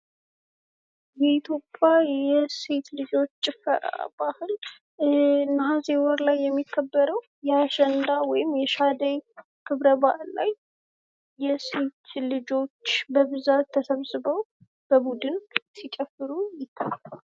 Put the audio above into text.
ይህ የክርስትና እምነት ሊገለጽባቸው የሚችላባቸው አንዱ የሆነው መስቀል ነው። መስቀል በክርስትና እምነት የሃይማኖት መገለጫ ሁኖ ያገለግላል። እንዲሁም ደግሞ ምስሉ ላይ የተለያዩ አክሊሎችን የሚያሳይ ነው።